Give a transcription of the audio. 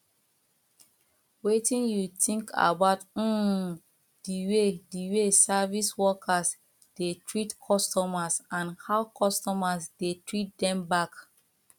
wetin you think about um di way way service workers dey treat customers and how customers dey treat dem back